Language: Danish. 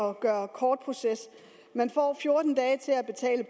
at gøre kort proces man får fjorten dage til at betale